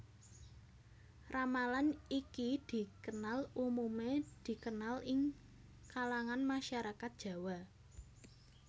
Ramalan iki dikenal umumé dikenal ing kalangan masyarakat Jawa